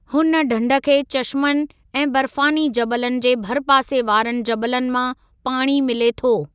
हुन ढंढ खे चशमनि ऐं बर्फ़ानी जबलनि जे भरपासे वारनि जबलनि मां पाणी मिले थो।